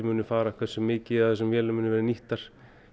fara hversu mikið af vélunum verða nýttar